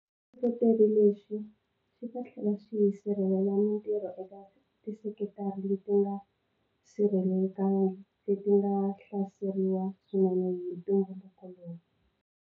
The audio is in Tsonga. Xihlohloteri lexi xi ta tlhela xi sirhelela mitirho eka tisekitara leti nga sirhelelekangiki leti nga hlaseriwa swinene hi ntungukulu lowu.